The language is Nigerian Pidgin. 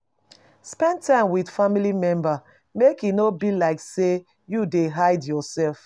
Spend time with family members make e no be like sey you dey hide yourself